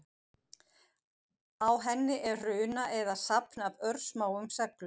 Á henni er runa eða safn af örsmáum seglum.